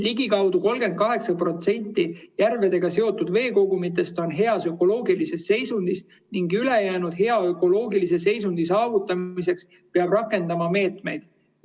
" Ligikaudu 38% järvedega seotud veekogumitest on heas ökoloogilises seisundis ning ülejäänute hea ökoloogilise seisundi saavutamiseks peab rakendama meetmeid.